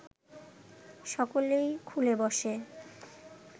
সকলেই খুলে বসে